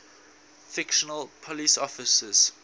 fictional police officers